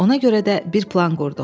Ona görə də bir plan qurduq.